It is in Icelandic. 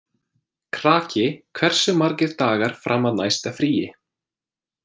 Kraki, hversu margir dagar fram að næsta fríi?